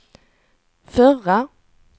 förra